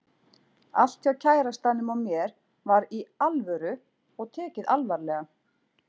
Allt hjá kærastanum og mér var Í ALVÖRU og tekið alvarlega.